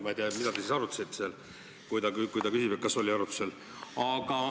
Ma ei tea, mida te siis arutasite seal, kui ta küsib, et kas oli arutlusel.